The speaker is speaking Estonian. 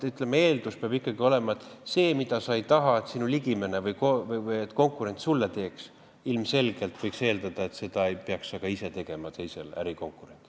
Eeldus peab olema, et seda, mida sa ei taha, et sinu ligimene või konkurent sulle teeks, ilmselgelt ei peaks sa ka ise tegema teisele, ärikonkurendile.